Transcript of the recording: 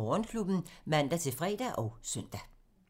05:03: Morgenklubben (man-fre og søn)